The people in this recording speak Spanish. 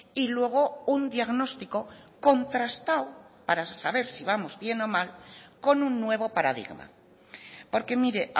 y luego un diagnóstico contrastado para saber si vamos bien o mal con un nuevo paradigma porque mire